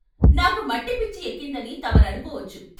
నాకు మట్టి పిచ్చి ఎక్కిందని తమరనుకోవచ్చు.